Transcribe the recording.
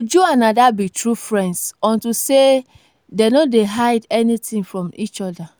uju and ada be true friends unto say dey no dey hide anything from each other